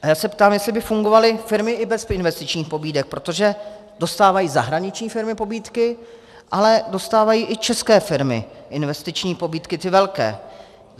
A já se ptám, jestli by fungovaly firmy i bez investičních pobídek, protože dostávají zahraniční firmy pobídky, ale dostávají i české firmy investiční pobídky, ty velké.